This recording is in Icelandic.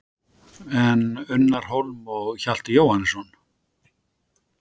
En Unnar Hólm og Hjalti Jóhannesson?